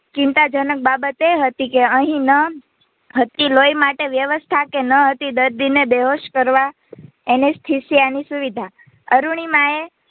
ચિંતાજનક બાબત એ હતી કે અહીં ન હતી લોહી માટે વ્યવસ્થા કે નહીં હતી દર્દી ને બેહોશ કરવા Anesthesia સુવિધા અરૂણિમા